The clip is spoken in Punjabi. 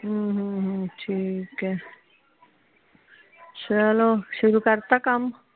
ਹਮ ਹਮ ਹਮ ਠੀਕ ਏ ਚਲੋ ਸ਼ੁਰੂ ਕਰਤਾ ਕੰਮ